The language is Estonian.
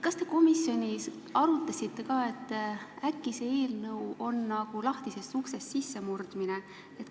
Kas te komisjonis arutasite ka seda, et äkki on see eelnõu nagu lahtisest uksest sissemurdmine?